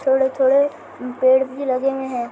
थोड़े-थोड़े हम्म पेड़ भी लगे हुए है।